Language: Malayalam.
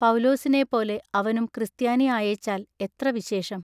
പൌലുസിനെപോലെ അവനും ക്രിസ്ത്യാനി ആയേച്ചാൽ എത്ര വിശേഷം.